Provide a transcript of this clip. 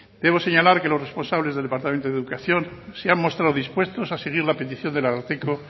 debo señalar que los responsables del departamento de educación se han mostrado dispuestos a seguir la petición del ararteko